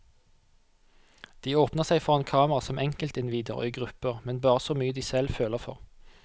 De åpner seg foran kamera som enkeltindivider og i grupper, men bare så mye de selv føler for.